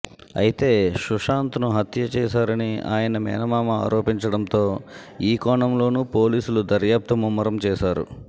అయితే సుశాంత్ను హత్య చేశారని ఆయన మేనమామ ఆరోపించడంతో ఈ కోణంలోనూ పోలీసులు దర్యాప్తు ముమ్మరం చేశారు